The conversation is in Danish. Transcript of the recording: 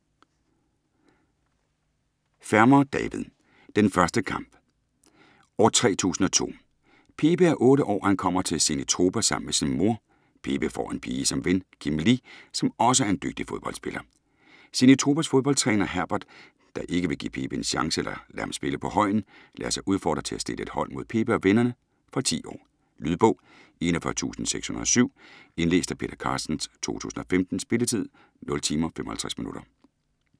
Fermer, David: Den første kamp År 3002. Pepe er 8 år, og han kommer til Zenitropa sammen med sin mor. Pepe får en pige som ven, Kim Li, som også er en dygtig fodboldspiller. Zeniptropas fodboldtræner, Herbert, der ikke vil give Pepe en chance eller lade ham spille på Højen, lader sig udfordre til at stille et hold mod Pepe og vennerne. Fra 10 år. Lydbog 41607 Indlæst af Peter Carstens, 2015. Spilletid: 0 timer, 55 minutter.